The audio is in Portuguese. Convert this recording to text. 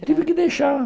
Tive que deixar.